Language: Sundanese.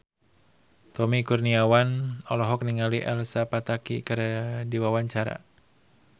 Tommy Kurniawan olohok ningali Elsa Pataky keur diwawancara